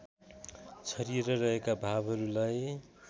छरिएर रहेका भावहरूलाई